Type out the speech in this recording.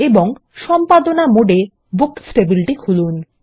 এবং সম্পাদনা মোডে বুকস টেবিলটি খুলুন